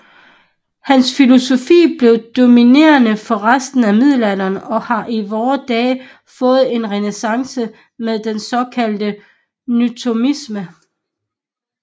Hans filosofi blev dominerende for resten af middelalderen og har i vore dage fået en renæssance med den såkaldte nythomisme